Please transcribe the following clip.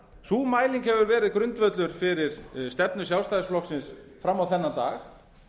sú mæling hefur verið grundvöllur fyrir stefnu sjálfstæðisflokksins fram á þennan dag